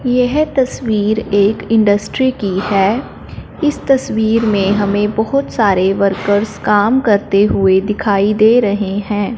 येह तस्वीर एक इंडस्ट्री की है इस तस्वीर में हमें बहोत सारे वर्कर्स काम करते हुए दिखाई दे रहे हैं।